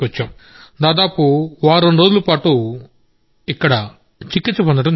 దాదాపు 78 రోజుల పాటు ఇక్కడ చికిత్స పొందారు